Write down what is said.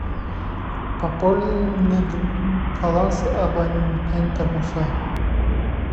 пополнить баланс абонента муса